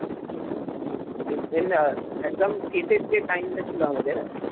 একদম শেষের যে time টা ছিল আমাদের